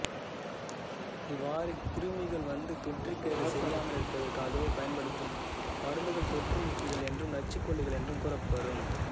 இவ்வாறு கிருமிகள் வந்து தொற்றிக் கேடு செய்யாமலிருப்பதற்காக பயன்படுத்தும் மருந்துகள் தொற்று நீக்கிகள் என்றும் நச்சுக்கொல்லிகள் என்றும் கூறப்பெறும்